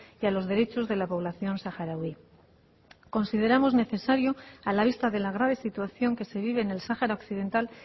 y a los derechos de la población saharaui consideramos necesario a la vista de la grave situación que se vive en el sahara occidental